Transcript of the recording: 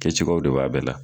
Kɛcogoyaw de b'a bɛɛ la.